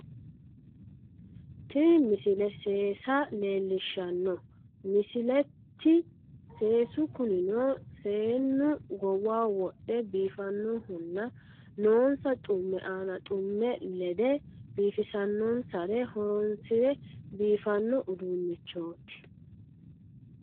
Tini misile seesa leellishshanno misileeti seesu kunino seennu goowaho wodhe biifannohonna noonsa xumme aana xumme lede biifisannonsare horonsire biifanno uduunnichooti